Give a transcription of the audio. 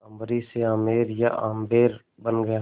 अम्बरीश से आमेर या आम्बेर बन गया